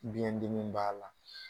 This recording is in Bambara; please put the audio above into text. Biɲɛdimi b'a la